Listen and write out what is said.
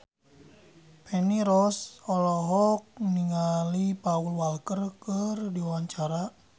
Feni Rose olohok ningali Paul Walker keur diwawancara